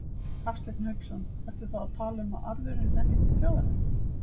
Hafsteinn Hauksson: Ertu þá að tala um að arðurinn renni til þjóðarinnar?